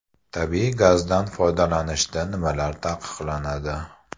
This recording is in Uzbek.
Tabiiy gazdan foydalanishda nimalar taqiqlanadi?